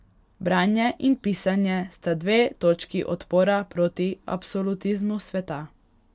Branje in pisanje sta dve točki odpora proti absolutizmu sveta.